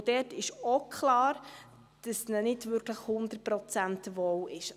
Dort ist auch klar, dass ihnen nicht wirklich zu 100 Prozent wohl ist.